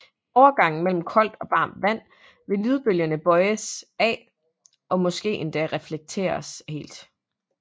I overgangen mellem koldt og varmet vand vil lydbølger bøjes af og måske endda reflekteres helt